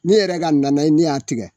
Ne yɛrɛ ka nanaye ne y'a tigɛ